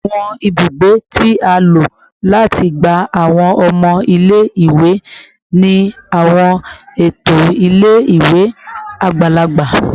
Awọn ibugbe ibugbe ti a lo lati gba awọn ọmọ ile-iwe ni awọn eto ile-iwe agbalagba